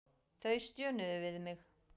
Þau stjönuðu við mig.